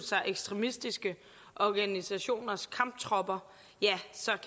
sig ekstremistiske organisationers kamptropper